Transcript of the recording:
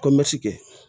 Ko mɛtike